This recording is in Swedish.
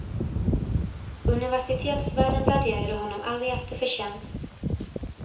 Universitetsvärlden värderade honom aldrig efter förtjänst.